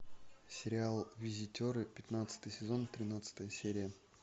сериал визитеры пятнадцатый сезон тринадцатая серия